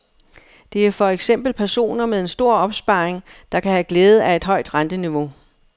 Det er for eksempel personer med en stor opsparing, der kan have glæde af et højt renteniveau.